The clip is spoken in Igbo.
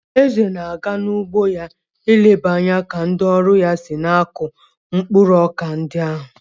Eze na-aga n'ugbo ya ileba anya ka ndị ọrụ ya si na-akụ mkpụrụ ọka ndi ahụ.